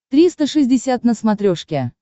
триста шестьдесят на смотрешке